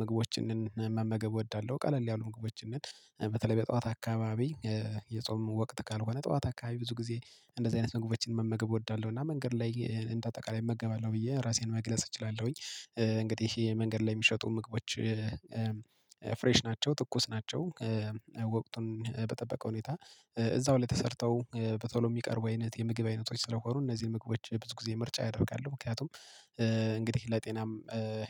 ምግቦችንን መመገብ እወዳለሁ። ቀለል ያሉ ምግቦችን በተለይ በጠዋት አካባቢ የጾም ወቅት ካልሆነ ጠዋት አካባቢ ብዙ ጊዜ እንደዚህ አይነት ምግቦችን መመገብ እወዳለሁ። እና መንገድ ላይ እንደ አጠቃላይ እመገባለሁ ብዬ ራሴን መግለጽ እችላለሁኝ። እንግዲህ የመንገድ ላይ የሚሸጡ ምግቦች ፍሬሽ ናቸው ትኩስ ናቸው። ወቅቱን በጠበቀ ሁኔታ እዛው ላይ ተሰርተው በቶሎ የሚቀርቡ አይነት የምግብ አይነቶች ስለሆኑ እነዚህ ምግቦች ብዙ ጊዜ ምርጫ ያደርጋሉ ምክንያቱም እንግዲህ ለጤናም